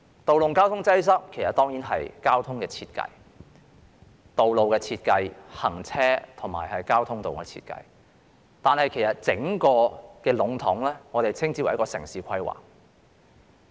道路交通擠塞當然關乎交通、道路、行車的設計，但其實整體稱之為城市規劃。